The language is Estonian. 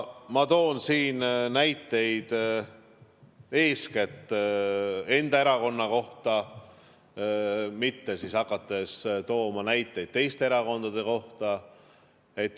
Ma toon näiteid eeskätt enda erakonna kohta, mitte ei hakka tooma näiteid teiste erakondade kohta.